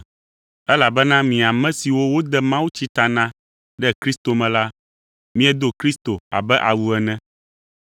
elabena mi ame siwo wode mawutsi ta na ɖe Kristo me la, miedo Kristo abe awu ene.